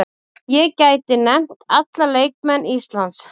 Ég gæti nefnt alla leikmenn Íslands.